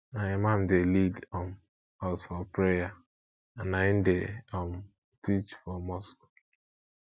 na imam dey lead um us for prayer and na im dey um teach for mosque